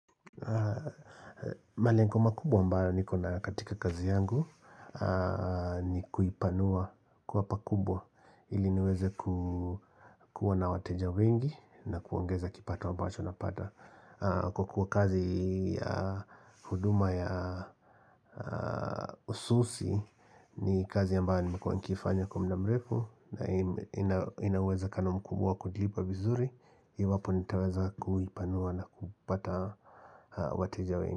Malengo makubwa ambayo niko nayo katika kazi yangu ni kuipanua, kuwa pakubwa ili niweze kuwa na wateja wengi na kuongeza kipato ambacho napata. Kwa kuwa kazi ya huduma ya ususi ni kazi ambayo nimekuwa nikiifanya kwa muda mrefu na inauwezekano mkubwa wa kulipa vizuri. Iwapo nitaweza kuipanua na kupata wateja wengi.